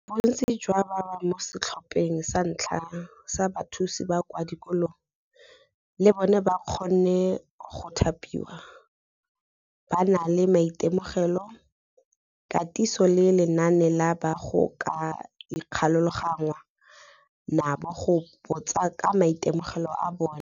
Bontsi jwa ba ba mo setlhopheng sa ntlha sa bathusi ba kwa dikolong, le bona ba kgonne go thapiwa, ba na le maitemogelo, katiso le lenane la ba go ka ikgolaganngwang nabo go botsa ka maitemogelo a bona.